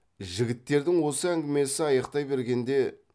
жігіттердің осы әңгімесі аяқтай бергенде